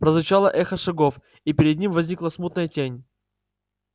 прозвучало эхо шагов и перед ним возникла смутная тень